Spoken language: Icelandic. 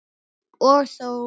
Og þó!